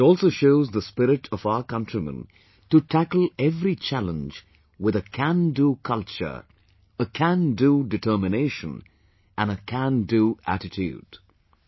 It also shows the spirit of our countrymen to tackle every challenge with a "Can Do Culture", a "Can Do Determination" and a "Can Do Attitude"